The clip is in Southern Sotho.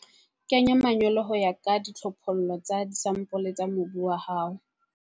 Kenya manyolo ho ya ka ditlhophollo tsa disampole tsa mobu wa hao.